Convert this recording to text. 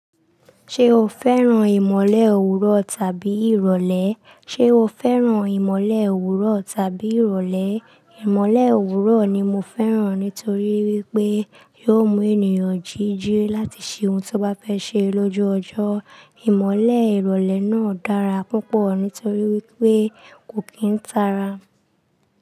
Ṣé o fẹ́ràn ìmọ̀le òwúrọ̀ tàbí ìrọ̀lẹ́? Ìmọ̀le òwúrọ̀ ni mo fẹ́ràn nítorí wípé yóò mú ènìyàn jíjẹ́ láti ṣe ohun tó bá fẹ́ ṣe lójú ọjọ́. Ìmọ̀le ìrọ̀lẹ́ náà dára púpọ̀ nítorí wípé kò kí ń tara.